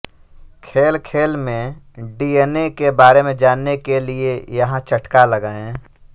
खेल खेल में डीएनऐ के बारे में जानने के लिये यहां चटका लगायें